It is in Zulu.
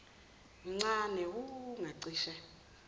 mncane wu ngacishe